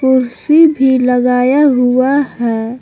कुर्सी भी लगाया हुआ है।